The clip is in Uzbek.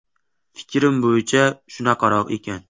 Fikrim bo‘yicha shunaqaroq ekan.